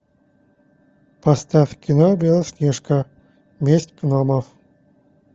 поставь кино белоснежка месть гномов